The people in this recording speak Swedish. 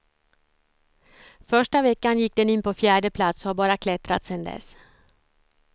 Första veckan gick den in på fjärde plats och har bara klättrat sedan dess.